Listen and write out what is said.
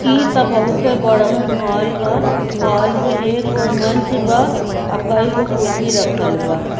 इ ता बहुते बरहन हॉल ह हॉल में एक ओर मंच बा अ केएगो कुर्सी रखल बा।